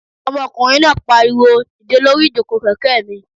Ọmọkùnrin náà pariwo "dìde lórí ìjòkó kẹ̀kẹ́ mi!"